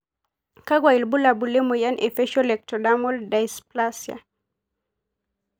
Kakwa ibulabul lemoyian e facial ectodermal dysplasia?